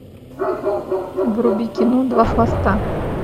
вруби кино два хвоста